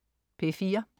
P4: